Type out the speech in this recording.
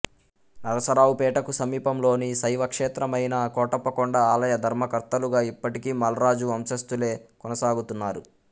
నరసరావుపేటకు సమీపంలోని శైవక్షేత్రమైన కోటప్పకొండ ఆలయ ధర్మకర్తలుగా ఇప్పటికీ మల్రాజు వంశంస్తులే కొనసాగుతున్నారు